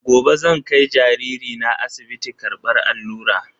Gobe zan kai jariri na asibiti karbar allura.